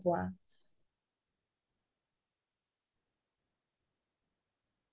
মই সাধৰণতে উপন্যাসয়ে বেছিকে পঢ়ো